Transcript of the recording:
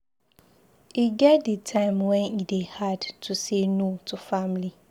E get di time wen e dey hard to say no to family.